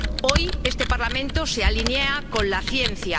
Hoy este Parlamento se alinea con la ciencia.